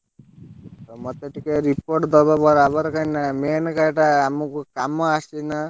ମତେ ଟିକେ report ଦବ ବରାବର କାଇଁନା main ଘାଇ ଟା ଆମକୁ କାମ ଆସିବ ନା।